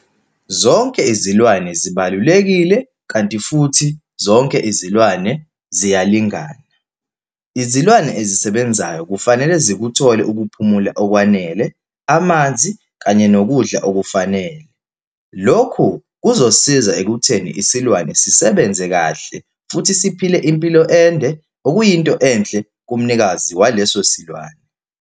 Zonke izilwane zibalulekile, kanti futhi zonke izilwane ziyalingana. Izilwane ezisebenzayo kufanele zikuthole ukuphumula okwanele, amanzi, kanye nokudla okufanele. Lokhu kuzosisiza ekutheni isilwane sisebenze kahle, futhi siphile impilo ende, okuyinto enhle kumnikazi waleso silwane.